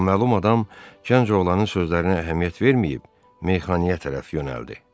Naməlum adam gənc oğlanın sözlərinə əhəmiyyət verməyib meyxanaya tərəf yönəldi.